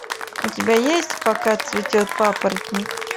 у тебя есть пока цветет папоротник